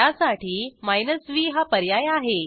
त्यासाठी माइनस व्ह हा पर्याय आहे